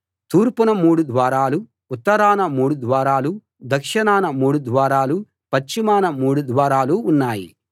తూర్పున మూడు ద్వారాలూ ఉత్తరాన మూడు ద్వారాలూ దక్షిణాన మూడు ద్వారాలూ పశ్చిమాన మూడు ద్వారాలూ ఉన్నాయి